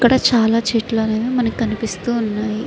ఇక్కడ చాల చెట్లు అనెవి మనకి కనిపెస్తు ఉన్నాయి.